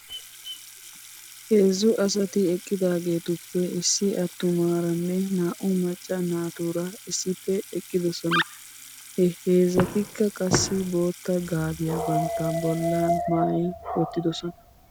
Heezzu asati eqqidaageetuppe issi attumaaranne naa'u macca naatuura issippe eqqidosona. He heezzatikka qassi bootta gaabiyaa bantta bollan maayi wottidosona .